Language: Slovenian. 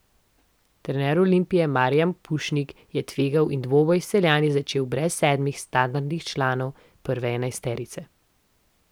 Trener Olimpije Marijan Pušnik je tvegal in dvoboj s Celjani začel brez sedmih standardnih članov prve enajsterice.